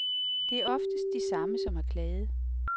Det er oftest de samme, som har klaget.